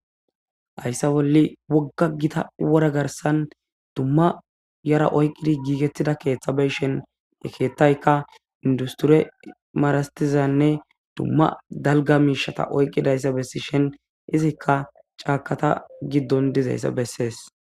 Hayssa bolle wogga gita wora garsan dumma yara oyqqidi giigettida keeththa beshen ekettaykka industure maarastizanne dumma dalga miishata oyqqidayssa bessi shen izikka caakata giddon dizayssa bessees.